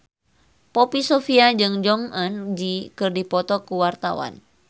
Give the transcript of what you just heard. Poppy Sovia jeung Jong Eun Ji keur dipoto ku wartawan